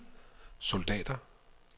soldater